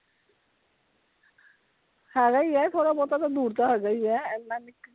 ਹੈਗਾ ਈ ਹੈ ਥੋੜਾ ਬਹੁਤ ਤਾਂ ਦੂਰ ਤਾਂ ਹੈਗਾ ਈ ਹੈ।